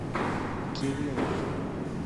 кириллов